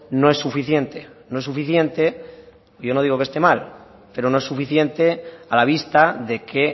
no es suficiente no es suficiente yo no digo que esté mal pero no es suficiente a la vista de que